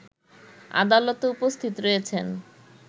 আদালতে উপস্থিত রয়েছেন